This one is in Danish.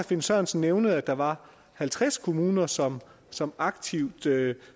finn sørensen nævnede at der var halvtreds kommuner som som aktivt